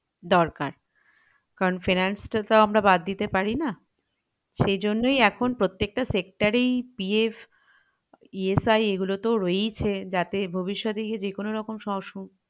দরকার কারন finance টা তো আমরা বাদ দিতে পারিনা সেইজন্যই এখন প্রত্যেকটা sector এই PF ESI এগুলো তো রয়েছেই যাতে ভবষ্যতে গিয়ে যে কোনরকম